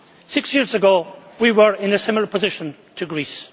Six years ago we were in a similar position to Greece.